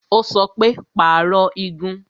Ó sọ pé "Pàrọ̀ igun"